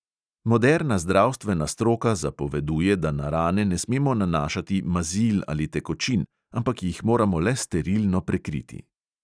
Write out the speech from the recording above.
Moderna zdravstvena stroka zapoveduje, da na rane ne smemo nanašati mazil ali tekočin, ampak jih moramo le sterilno prekriti.